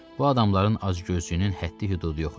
Bu adamların acgözlüyünün həddi-hüdudu yox idi.